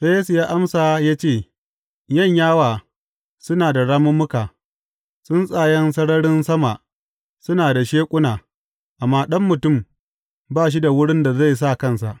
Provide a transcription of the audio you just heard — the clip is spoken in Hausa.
Sai Yesu ya amsa ya ce, Yanyawa suna da ramummuka, tsuntsayen sararin sama suna da sheƙuna, amma Ɗan Mutum ba shi da wurin da zai sa kansa.